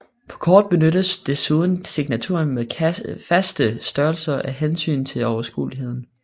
På kort benyttes desuden signaturer med faste størrelser af hensyn til overskueligheden